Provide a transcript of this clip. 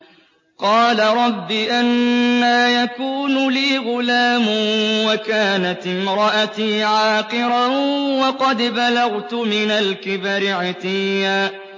قَالَ رَبِّ أَنَّىٰ يَكُونُ لِي غُلَامٌ وَكَانَتِ امْرَأَتِي عَاقِرًا وَقَدْ بَلَغْتُ مِنَ الْكِبَرِ عِتِيًّا